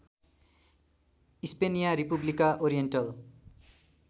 स्पेनिया रेपुब्लिका ओरिएन्टल